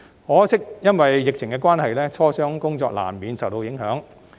可惜，由於疫情關係，磋商工作難免受到影響。